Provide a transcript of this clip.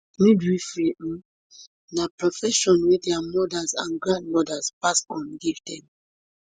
midwifery um na profession wey dia mothers and grandmothers pass on give dem